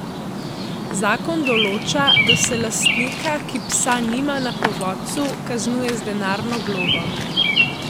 Zakon določa, da se lastnika, ki psa nima na povodcu, kaznuje z denarno globo.